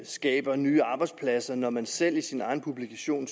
skaber nye arbejdspladser når man selv i sin egen publikation